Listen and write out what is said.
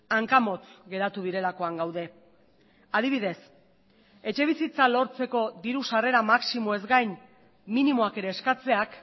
hanka motz geratu direlakoan gaude adibidez etxebizitza lortzeko diru sarrera maximoez gain minimoak ere eskatzeak